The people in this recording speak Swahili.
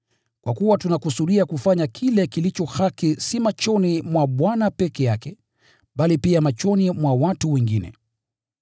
Kwa kuwa tunakusudia kufanya kile kilicho haki si machoni mwa Bwana peke yake, bali pia machoni mwa watu wengine.